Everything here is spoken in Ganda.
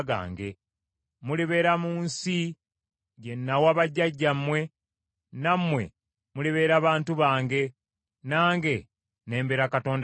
Mulibeera mu nsi gye nawa bajjajjammwe, nammwe mulibeera bantu bange, nange ne mbeera Katonda wammwe.